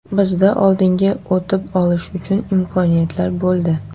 Bizda oldinga o‘tib olish uchun imkoniyatlar bo‘ldi.